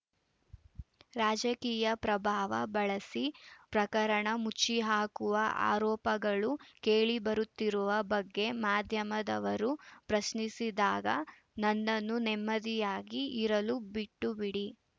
ರಾಜಕೀಯ ಪ್ರಭಾವ ಬಳಸಿ ಪ್ರಕರಣ ಮುಚ್ಚಿಹಾಕುವ ಆರೋಪಗಳು ಕೇಳಿಬರುತ್ತಿರುವ ಬಗ್ಗೆ ಮಾಧ್ಯಮದವರು ಪ್ರಶ್ನಿಸಿದಾಗ ನನ್ನನ್ನು ನೆಮ್ಮದಿಯಾಗಿ ಇರಲು ಬಿಟ್ಟುಬಿಡಿ